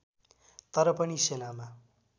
तर पनि सेनामा